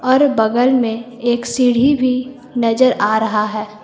अर बगल में एक सीढ़ी भी नजर आ रहा है।